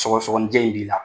Sɔgɔsɔgɔnijɛ in b'i la